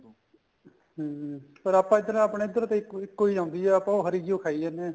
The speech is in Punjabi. ਹਮ ਪਰ ਆਪਾਂ ਇਤਨਾ ਆਪਣਾ ਇੱਧਰ ਤੇ ਇੱਕੋ ਈ ਆਂਦੀ ਏ ਆਪਾਂ ਉਹ ਹਰੀ ਜੀ ਓ ਖਾਈ ਜਾਨੇ ਆ